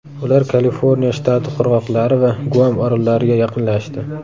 Ular Kaliforniya shtati qirg‘oqlari va Guam orollariga yaqinlashdi.